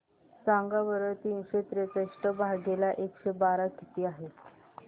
सांगा बरं तीनशे त्रेसष्ट भागीला एकशे बारा किती आहे